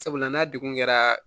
Sabula n'a degun kɛra